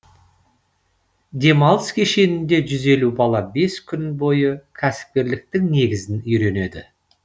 демалыс кешенінде жүз елу бала бес күн бойы кәсіпкерліктің негізін үйренеді